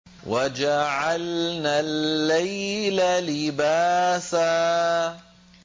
وَجَعَلْنَا اللَّيْلَ لِبَاسًا